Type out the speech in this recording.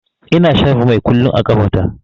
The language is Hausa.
Ina shafa mai kullum a ƙafa ta.